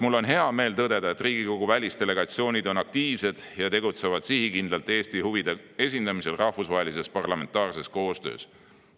Mul on hea meel tõdeda, et Riigikogu välisdelegatsioonid on aktiivsed ja tegutsevad sihikindlalt Eesti huvide esindamisel rahvusvahelises parlamentaarses koostöös.